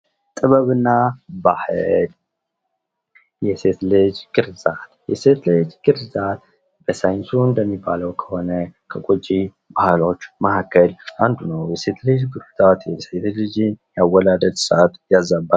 ጥበብ እና ባሕል የሴት ልጅ ግርዛት የሴት ልጅ ግርዛት በሳይንሱ እንደሚባለው ከሆነ ከጎጂ ባህሎች መሀከል አንዱ ነው። የሴት ልጅ ግርዛትን የሴት ልጅ የወለድ ስርዓት ያዛባል።